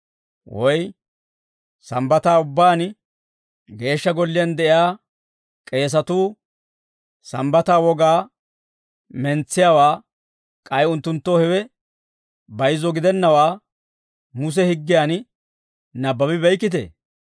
Woy Sambbataa ubbaan Geeshsha Golliyaan de'iyaa k'eesatuu Sambbataa wogaa mentsiyaawaa, k'ay unttunttoo hewe bayizzo gidennawaa Muse higgiyan nabbabi beykkitee?